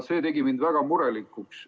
See tegi mind väga murelikuks.